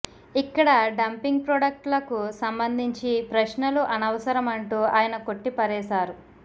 ఇక్కడ dumping product లకు సంబంధించి ప్రశ్నలు అనవసరమంటూ ఆయన కొట్టి పారేశారు